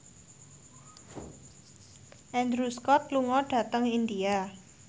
Andrew Scott lunga dhateng India